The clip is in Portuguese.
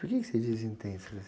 Por quê que você diz intensas?